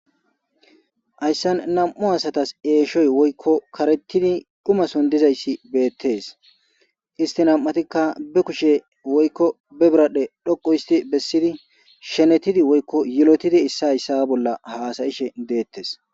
Hayssan nam'u asatas eeshoy woykko karettidi dumason dizayssi beettes istinam'atikka be kushe woykko be biradhdhe dhoqu histi bessidi shenetidi woykko yelotidi issa hayssa bolla haasayishe deettes